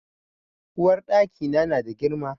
Uwarɗaki na na da girma.